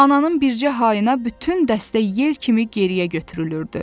Ananın bircə hayına bütün dəstə yel kimi geriyə götürülürdü.